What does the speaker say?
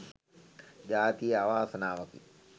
ජාතියේ අවාසනාවකි